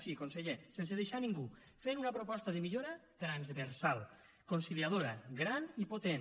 sí conseller sense deixar ningú fent una proposta de millora transversal conciliadora gran i potent